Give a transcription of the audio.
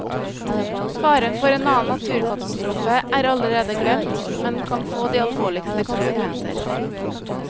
Faren for en annen naturkatastrofe er allerede glemt, men kan få de alvorligste konsekvenser.